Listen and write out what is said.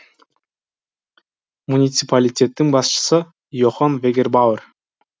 муниципалитеттің басшысы йохан вегербауэр